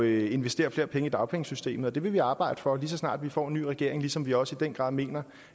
investere flere penge i dagpengesystemet og det vil vi arbejde for lige så snart vi får en ny regering ligesom vi også i den grad mener